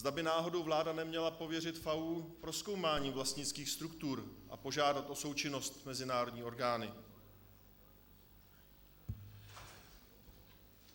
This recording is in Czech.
Zda by náhodou vláda neměla pověřit FAÚ prozkoumáním vlastnických struktur a požádat o součinnost mezinárodní orgány.